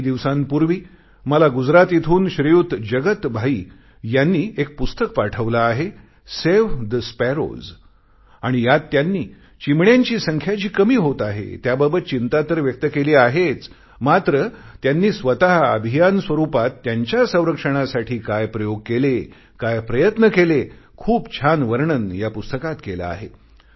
काही दिवसांपूर्वी मला गुजरात इथून श्रीयुत जगत भाई यांनी एक पुस्तक पाठवले आहे सावे ठे स्पॅरोज आणि यात त्यांनी चिमण्यांची संख्या जी कमी होत आहे त्याबाबत चिंता तर व्यक्त केली आहेच मात्र त्यांनी स्वतः अभियान स्वरूपात त्यांच्या संरक्षणासाठी काय प्रयोग केले काय प्रयत्न केले खूप छान वर्णन या पुस्तकात केले आहे